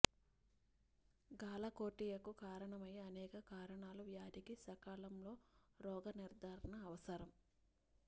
గాలక్టోరియాకు కారణమయ్యే అనేక కారణాలు వ్యాధికి సకాలంలో రోగ నిర్ధారణ అవసరం